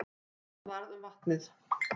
En hvað varð um vatnið?